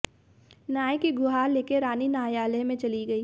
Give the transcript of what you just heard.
न्याय की गुहार लेकर रानी न्यायालय में चली गई